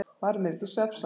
Varð mér ekki svefnsamt.